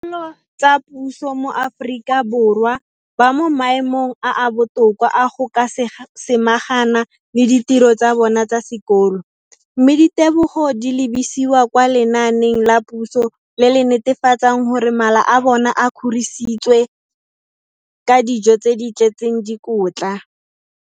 Lo tsa puso mo Aforika Borwa ba mo maemong a a botoka a go ka samagana le ditiro tsa bona tsa sekolo, mme ditebogo di lebisiwa kwa lenaaneng la puso le le netefatsang gore mala a bona a kgorisitswe ka dijo tse di tletseng dikotla.